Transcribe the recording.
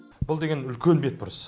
бұл деген үлкен бетбұрыс